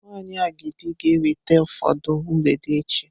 Nwanyị agidi ga-eweta ụfọdụ mgbede echi.